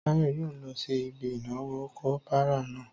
Táyọ̀ yóò lọ sí ibi ìnáwó kopara náà